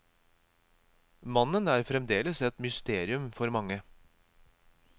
Mannen er fremdeles et mysterium for mange.